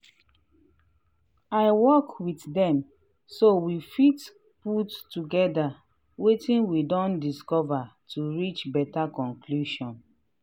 i work with dem so we fit put togetherwetin we don dicover to reach better conclusion.